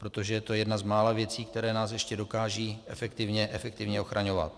Protože je to jedna z mála věcí, které nás ještě dokážou efektivně ochraňovat.